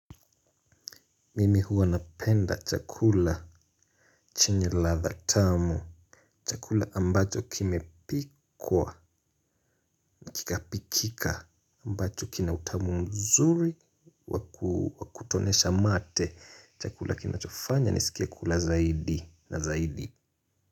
Mimi huwa napenda chakula chenye ladha tamu. Chakula ambacho kimepikwa na kikapikika ambacho kina utamu mzuri wa kutonesha mate. Chakula kinachofanya niskie kula zaidi na zaidi.